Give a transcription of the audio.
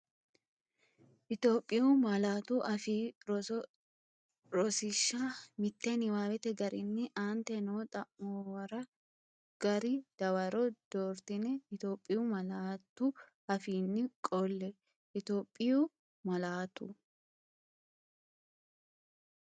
Itophiyu Malaatu Afii Roso Rosiishsha Mite Niwaawete garinni aante noo xa’muwara gari dawaro doortine Itophiyu malaatu afiinni qolle Itophiyu Malaatu.